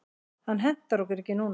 Hann hentar okkur ekki núna.